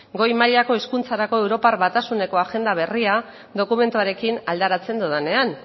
goi mailako hezkuntzarako europar batasuneko agenda berria dokumentuarekin alderatzen dodanean